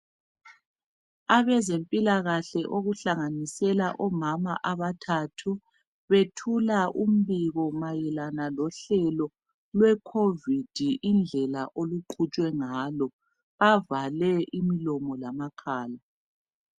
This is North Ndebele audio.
Abezempilakahle okuhlanganisela omama abathathu bethula umbiko mayelana lohlelo lwecovid indlela oluqhutshwe ngalo bavale imilomo lamakhala.